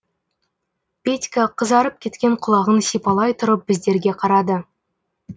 петька қызарып кеткен құлағын сипалай тұрып біздерге қарады